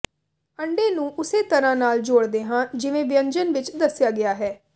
ਅੰਡੇ ਨੂੰ ਉਸੇ ਤਰ੍ਹਾਂ ਨਾਲ ਜੋੜਦੇ ਹਾਂ ਜਿਵੇਂ ਵਿਅੰਜਨ ਵਿੱਚ ਦੱਸਿਆ ਗਿਆ ਹੈ